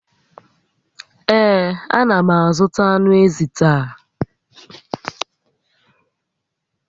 Ee, a na m azụta ànù ézì taa